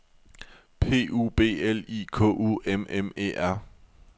P U B L I K U M M E R